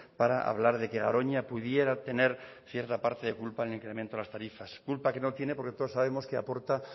para hablar de que garoña pudiera tener cierta parte de culpa en el incremento de las tarifas culpa que no tiene porque todos sabemos que aporta